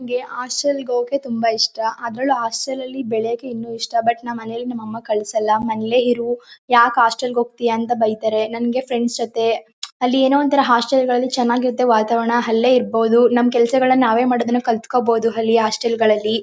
ನಂಗೆ ಹಾಸ್ಟೆಲ್ ಗೆ ಹೋಗೋಕೆ ತುಂಬ ಇಷ್ಟ. ಅದ್ರಲ್ಲು ಹಾಸ್ಟೆಲ್ ಅಲ್ಲಿ ಬೆಳೆಯಕ್ಕೆ ಇನ್ನು ಇಷ್ಟ. ಬಟ್ ನಮ್ ಮನೇಲಿ ನಮ್ ಅಮ್ಮ ಕಳ್ ಸಲ್ಲ. ಮನೇಲೆ ಇರು. ಯಾಕ್ ಹಾಸ್ಟೆಲ್ ಗೆ ಹೋಗ್ತ್ಯಾ ಅಂತ ಬೈತಾರೆ. ನಂಗೆ ಫ್ರೆಂಡ್ಸ್ ಜೊತೆ ಅಲ್ಲಿ ಏನೋ ಒಂತರ ಹಾಸ್ಟೆಲ್ ಅಲಿ ಚೆನಾಗಿದ್ ವಾತಾವರಣ ಅಲ್ಲೇ ಇರ್ಬೋದು ನಮ್ ಕೆಲ್ಸಗಳ್ನ ನಾವೇ ಮಾಡೋದನ್ನ ಕಲ್ತ್ಕೋಬೋದು ಅಲ್ಲಿ ಹಾಸ್ಟೆಲ್ ಗಳಲ್ಲಿ.